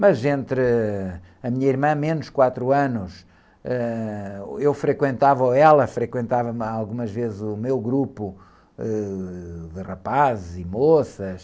Mas entre a minha irmã, menos quatro anos, ãh, eu frequentava, ou ela frequentava uma, algumas vezes o meu grupo, ãh, de rapazes e moças,